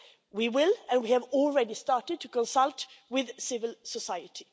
We will and we have already started to consult with civil society.